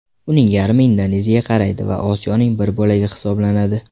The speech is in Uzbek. Uning yarmi Indoneziyaga qaraydi va Osiyoning bir bo‘lagi hisoblanadi.